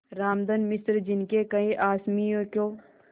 रामधन मिश्र जिनके कई असामियों को